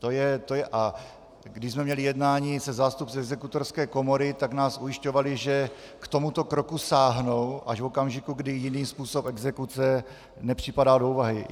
A když jsme měli jednání se zástupci Exekutorské komory, tak nás ujišťovali, že k tomuto kroku sáhnou až v okamžiku, kdy jiný způsob exekuce nepřipadá do úvahy.